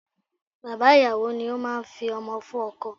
Bàbá ìyàwó ni ó máa ń fi ọmọ fún ọkọ.